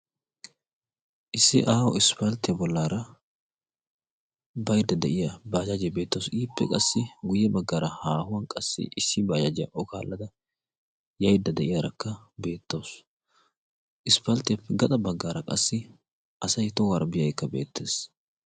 issi aaho isppalttiyaa bollaara baydda de'iya baajajiya beettawus ippe qassi guyye baggaara haahuwan qassi issi baajaajiyaa o kaallada yaydda de'iyaarakka beettawusu isppalttiyaappe gaxa baggaara qassi asay tohuwaara biyaaykka beettees